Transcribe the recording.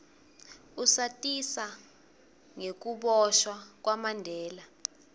usatisa ngekuboshwa kwamandela